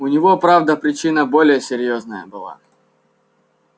у него правда причина более серьёзная была